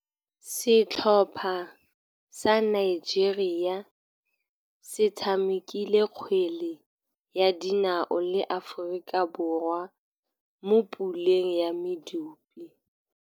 Setlhopha sa Nigeria se tshamekile kgwele ya dinaô le Aforika Borwa mo puleng ya medupe.